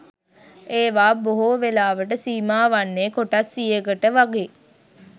ඒවා බොහෝ වෙලාවට සීමා වන්නේ කොටස් සියයකට වගෙයි